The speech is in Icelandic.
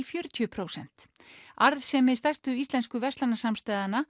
fjörutíu prósent arðsemi stærstu íslensku